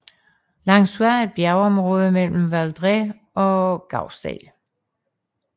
Langsua er et bjergområde mellem Valdres og Gausdal